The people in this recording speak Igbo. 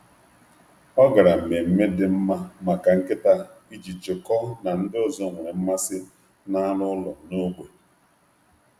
Ọ gara um mmemme dị mma maka nkịta iji jikọọ um na ndị ọzọ nwere mmasị n’anụ ụlọ n’ógbè.